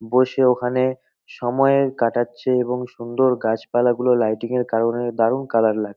বসে ওখানে সময় কাটাচ্ছে এবং সুন্দর গাছপালা গুলো লাইটিং -এর কারণে দারুণ কালার লাগ--